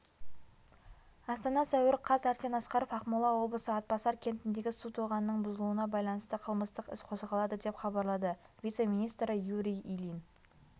астана сәуір қаз арсен асқаров ақмола облысы атбасар кентіндегі су тоғанының бұзылуына байланысты қылмыстық іс қозғалады деп хабарлады вице-министрі юрий ильин